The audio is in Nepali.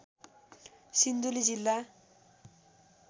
सिन्धुली जिल्ला